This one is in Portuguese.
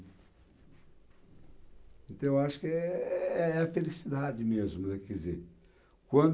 Então, eu acho que é é a felicidade mesmo, né, quer dizer,